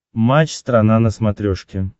матч страна на смотрешке